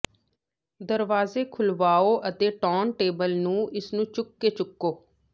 ਦਰਵਾਜੇ ਖੁਲ੍ਹਵਾਓ ਅਤੇ ਟੌਨਟੇਬਲ ਨੂੰ ਇਸ ਨੂੰ ਚੁੱਕ ਕੇ ਚੁੱਕੋ